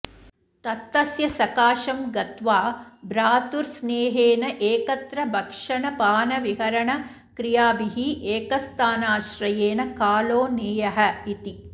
तत्तस्य सकाशं गत्वा भ्रातृस्नेहेनैकत्र भक्षणपानविहरणक्रियाभिरेकस्थानाश्रयेण कालो नेयः इति